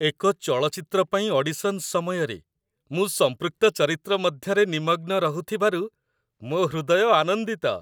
ଏକ ଚଳଚ୍ଚିତ୍ର ପାଇଁ ଅଡିସନ୍ ସମୟରେ ମୁଁ ସମ୍ପୃକ୍ତ ଚରିତ୍ର ମଧ୍ୟରେ ନିମଗ୍ନ ରହୁଥିବାରୁ ମୋ ହୃଦୟ ଆନନ୍ଦିତ